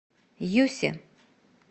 юсе